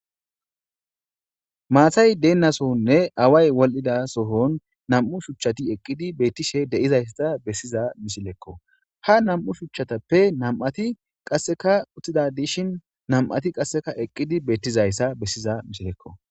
Maatay deennasohonne away wol7ida sohon nam7u shuchchati eqqidi beettishe deizaysssa bessiza misilekko ha nam7u shuchchatappe nam7ati qasseka uttida dishin nam7ati qasseka eqqidi beettizayssa bessiza misilekko.